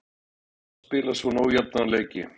En er gaman að spila svona ójafna leiki?